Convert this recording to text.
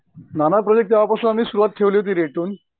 नाना project आम्ही तेंव्हापासुन सुरुवात ठेवली होती रे